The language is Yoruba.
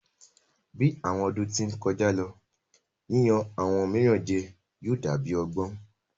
Bi awọn ọdun ti n kọja lo, yiyan awọn miiran jẹ yóò da bi ọgbọn